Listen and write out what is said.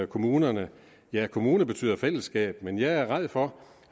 kommunerne ja kommune betyder fællesskab men jeg er ræd for